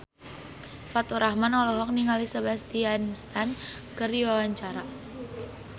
Faturrahman olohok ningali Sebastian Stan keur diwawancara